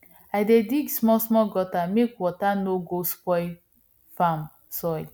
i dey dig smallsmall gutter make water no go spoil farm soil